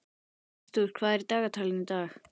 Arthur, hvað er í dagatalinu í dag?